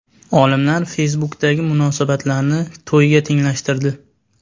Olimlar Facebook’dagi munosabatlarni to‘yga tenglashtirdi.